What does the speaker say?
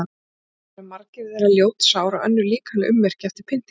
Báru margir þeirra ljót sár og önnur líkamleg ummerki eftir pyndingar.